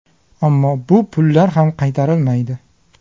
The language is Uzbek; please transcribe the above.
Ammo bu pullar ham qaytarilmaydi.